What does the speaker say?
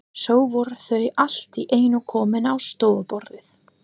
Svo voru þau allt í einu komin á stofuborðið.